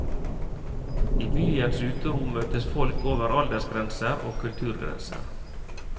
I byens uterom møtes folk over aldersgrenser og kulturgrenser.